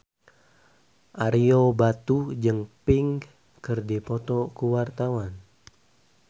Ario Batu jeung Pink keur dipoto ku wartawan